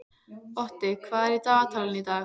Otti, hvað er í dagatalinu í dag?